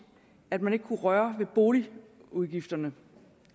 at man ikke kan røre ved boligudgifterne